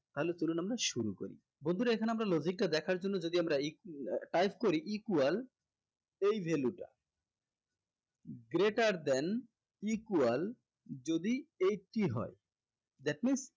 তাহলে চলুন আমরা শুরু করি বন্ধুরা এখানে আমরা logic টা দেখার জন্য যদি আমরা type করি equal এই value টা greater than equal যদি eighty হয় that means